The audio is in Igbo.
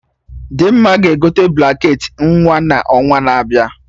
Dimma ga-egote blanket ị nwa n'ọnwa na-abịa